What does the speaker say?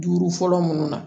Duuru fɔlɔ minnu na